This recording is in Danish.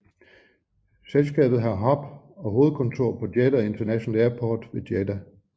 Selskabet har hub og hovedkontor på Jeddah International Airport ved Jeddah